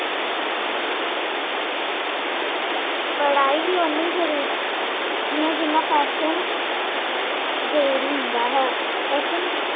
ਪੜਾਈ ਵੀ ਓਨੀ ਜ਼ਰੂਰੀ ਹੈ ਜਿੰਨਾ ਫੈਸ਼ਨ ਜ਼ਰੂਰੀ ਹੁੰਦਾ ਹਾਂ ਫੈਸ਼ਨ